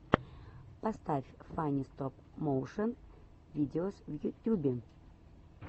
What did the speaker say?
поставь фанни стоп моушен видеос в ютюбе